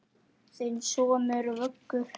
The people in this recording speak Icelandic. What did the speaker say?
Þinn sonur, Vöggur.